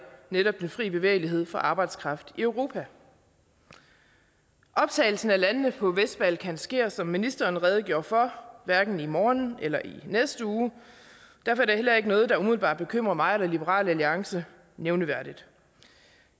netop den fri bevægelighed for arbejdskraft i europa optagelsen af landene på vestbalkan sker som ministeren redegjorde for hverken i morgen eller i næste uge derfor er det heller ikke noget der umiddelbart bekymrer mig eller liberal alliance nævneværdigt